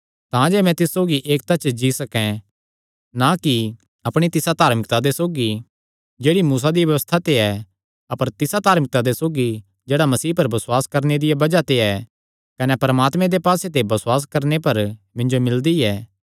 तांजे मैं तिस सौगी एकता च जी सकैं ना कि अपणी तिसा धार्मिकता दे सौगी जेह्ड़ी मूसा दिया व्यबस्था ते ऐ अपर तिसा धार्मिकता दे सौगी जेह्ड़ा मसीह पर बसुआस करणे दिया बज़ाह ते ऐ कने परमात्मे दे पास्से ते बसुआस करणे पर मिन्जो मिलदी ऐ